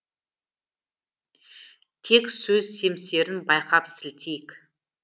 тек сөз семсерін байқап сілтейік